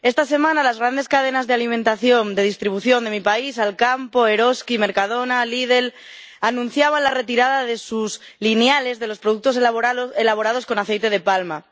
Esta semana, las grandes cadenas de alimentación de distribución de mi país —Alcampo, Eroski, Mercadona, Lidl— anunciaban la retirada de sus lineales de los productos elaborados con aceite de palma.